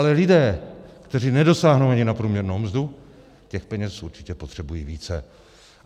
Ale lidé, kteří nedosáhnou ani na průměrnou mzdu, těch peněz určitě potřebují více.